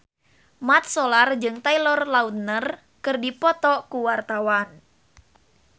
Mat Solar jeung Taylor Lautner keur dipoto ku wartawan